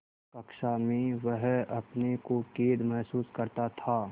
कक्षा में वह अपने को कैद महसूस करता था